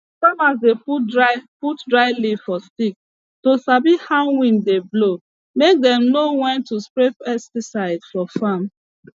farmers dey put dry put dry leaf for stick to sabi how wind dey blow make them know when to spray pesticide for farm